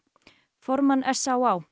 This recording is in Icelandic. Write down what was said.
formann s á á